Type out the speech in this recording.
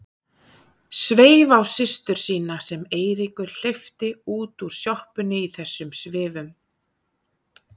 Sveif á systur sína sem Eiríkur hleypti út úr sjoppunni í þessum svifum.